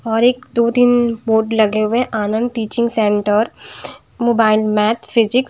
और एक दो-तीन बोर्ड लगे हुए हैं Anand teaching centre mobile math physics --